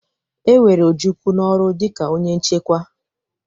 E were Ojukwu n'ọrụ dịka onye nchekwa.